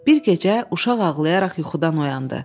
Bir gecə uşaq ağlayaraq yuxudan oyandı.